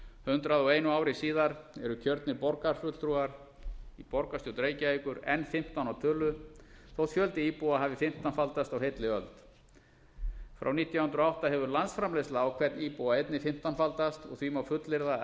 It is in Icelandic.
hundrað og einu ári síðar eru kjörnir fulltrúar í borgarstjórn reykjavíkur enn fimmtán að tölu þótt fjöldi íbúa hafi fimmtánfaldast á heilli öld frá nítján hundruð og átta hefur landsframleiðsla á hvern íbúa einnig fimmtánfaldast og því má fullyrða að